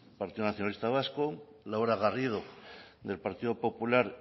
partido nacionalista vasco laura garrido del partido popular